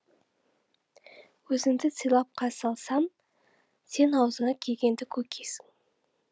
өзіңді сыйлап қарсы алсам сен аузыңа келгенді көкисің